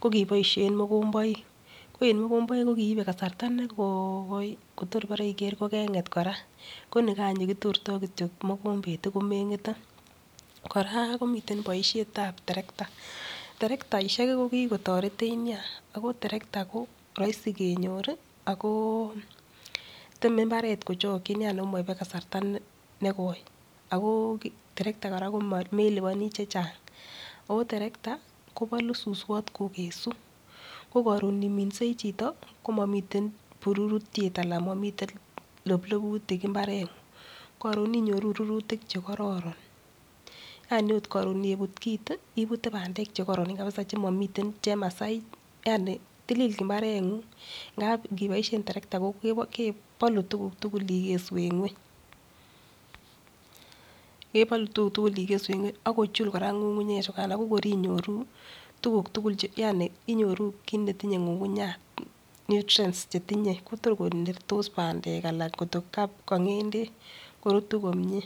Kokiboishe mogomboik, ko en mogomboik ko kiibei kasarta ne gooi kotor kokeng'et kora. Ko nikan ne kitortai kitio mogombet ko meng'ete. Kora komitie boishet ab terekta, terektaishek ko kiko toretech nea ako terekta ko rahisi kenyor ako temei mbaret kochokchi ako maibei kasarta negoi. Ago terekta kora ko melipani che chang. Amu terekta ko polu suswat kokesu, ko karon ngiminsei chito ko momitei pururutiet anan momitei loblobutik mbareng'ung. Koron inyoru rurutik che kororon. Yani akot karon ngiput kit, ipute pandek chekoro kabisa chemomitei chemasai yani tilil mbareng'ung ngiboishe terekta kepolu tukuk tugul ikesu en ng'weny. Kepolu tukuk tugul ikesu en ng'weny ak kochul kora ng'ung'unyek chukan ako kor inyoru tukuk tugul yani inyoru kit age tugul netinyei ng'ung'unyat. nutrients chetinyei ko tor korurtis pandek anan ko ka ng'endek korutu komie.